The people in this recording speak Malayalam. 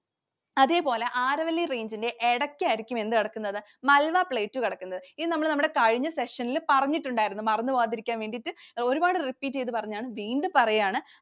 അതേപോലെ Aravalli Range ൻറെ ഇടക്കായിരിക്കും എന്ത് കിടക്കുന്നത്? Malwa Plateau കിടക്കുന്നത്. ഇത് നമ്മൾ നമ്മുടെ കഴിഞ്ഞ session ൽ പറഞ്ഞിട്ടുണ്ടായിരുന്നു. മറന്നുപോകാതിരിക്കാൻ വേണ്ടിട്ട് ഒരുപാട് repeat ചെയ്‌തു പറഞ്ഞതാണ്. വീണ്ടും പറയാണ്.